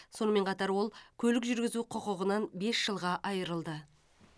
сонымен қатар ол көлік жүргізу құқығынан бес жылға айырылды